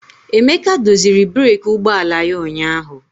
Emeka doziri breeki ụgbọ ala ya ụnyahụ.